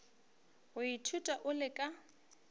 go ithuta o le ka